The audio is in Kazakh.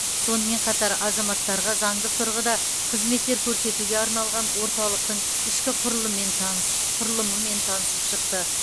сонымен қатар азаматтарға заңдық тұрғыда қызметтер көрсетуге арналған орталықтың ішкі танысып шықты